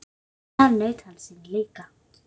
Þar naut hann sín líka.